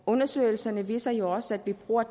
undersøgelserne viser jo også at vi bruger